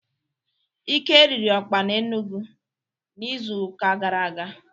Ike riri Okpa n'Enugwu n'izu uka gara aga.